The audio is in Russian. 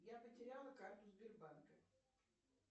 я потеряла карту сбербанка